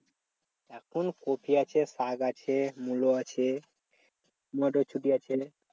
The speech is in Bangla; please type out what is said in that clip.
এখন কপি আছে শাগ আছে মুলো আছে মটরসুটি আছে